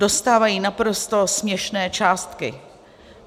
Dostávají naprosto směšné částky.